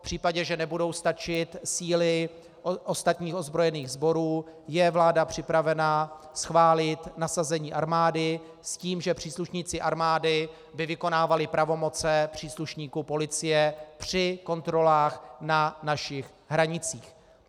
V případě, že nebudou stačit síly ostatních ozbrojených sborů, je vláda připravena schválit nasazení armády s tím, že příslušníci armády by vykonávali pravomoci příslušníků policie při kontrolách na našich hranicích.